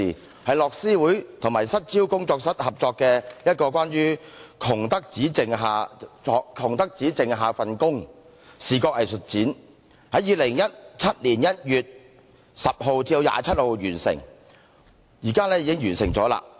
它是由樂施會與失焦工作室合辦的一個關於"窮得只剩份工"的視覺藝術展，於2017年1月10日至27日展出，展期現已完結。